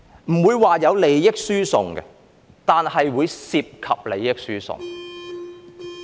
不會說有利益輸送，但會涉及利益輸送。